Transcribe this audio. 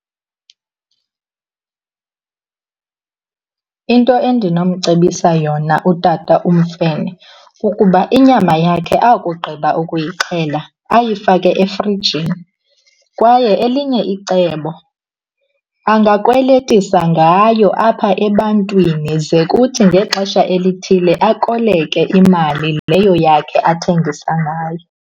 Into endinomcebisa yona utata uMfene kukuba inyama yakhe akugqiba ukuyixhela ayifake efrijini. Kwaye elinye icebo, angakweletisa ngayo apha ebantwini ze kuthi ngexesha elithile akoleke imali leyo yakhe athengisa ngayo.